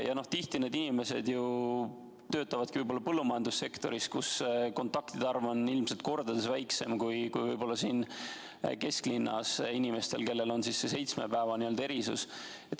Tihti need inimesed ju töötavadki põllumajandussektoris, kus kontaktide arv on ilmselt kordades väiksem kui võib-olla siin kesklinnas inimestel, kellele kehtib see seitsme päeva erisus.